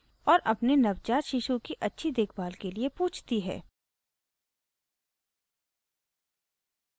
और अपने नवजात शिशु की अच्छी देखभाल के लिए पूछती है